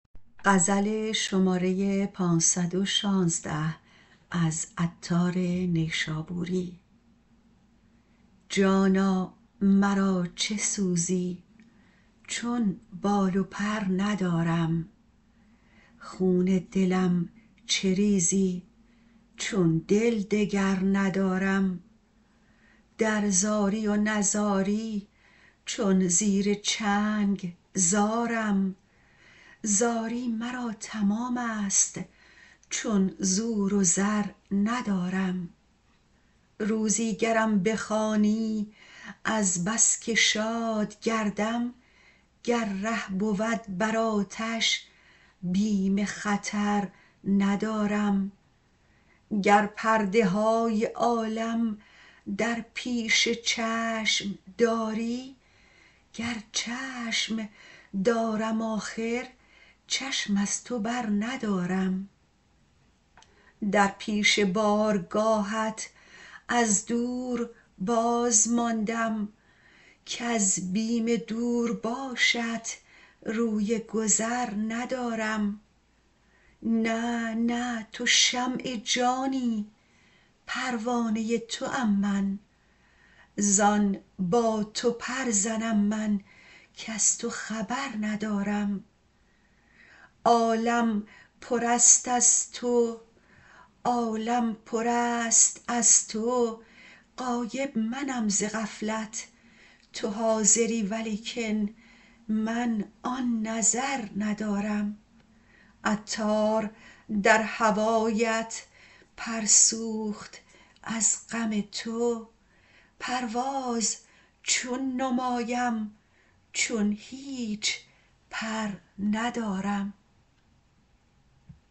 جانا مرا چه سوزی چون بال و پر ندارم خون دلم چه ریزی چون دل دگر ندارم در زاری و نزاری چون زیر چنگ زارم زاری مرا تمام است چون زور و زر ندارم روزی گرم بخوانی از بس که شاد گردم گر ره بود بر آتش بیم خطر ندارم گر پرده های عالم در پیش چشم داری گر چشم دارم آخر چشم از تو بر ندارم در پیش بارگاهت از دور بازماندم کز بیم دور باشت روی گذر ندارم نه نه تو شمع جانی پروانه توام من زان با تو پر زنم من کز تو خبر ندارم عالم پر است از تو غایب منم ز غفلت تو حاضری ولیکن من آن نظر ندارم عطار در هوایت پر سوخت از غم تو پرواز چون نمایم چون هیچ پر ندارم